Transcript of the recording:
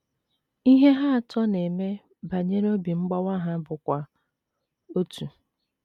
Ihe ha atọ na - eme banyere obi mgbawa ha bụkwa otu.